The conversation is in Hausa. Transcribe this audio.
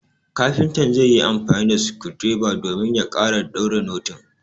kafintan zaiyi amfani da skundireba domin ya kara daure noting